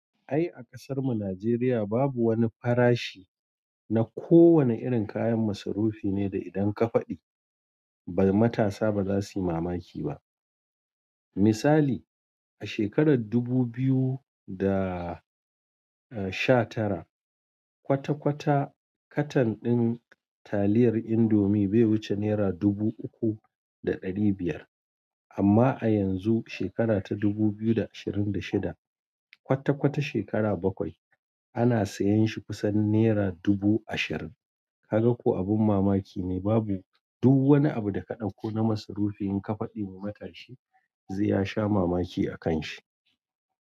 Ai a kasar mu Nijeriya babu wani farashi na ko wane irin kayan masarufi ne da idan ka fadi matasa ba za suyi mamaki ba. Misali a shekarar dubu biyu da sha tara kwata kwata katan din taliyar indomie bai wuce nera dubu uku da ɗari biyar amma a yanzu shekara ta dubu biyu da ashirin da shida kwata kwata shekara bakwai ana siyan shi kusan nera dubu ashirin. Ka ga ko abin mamaki ne babu du wani abu da ka ɗauko na masarufi in ka fadi wa matashi ze ya sha mamaki akan shi.